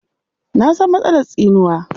Na san matsalar tsinuwa.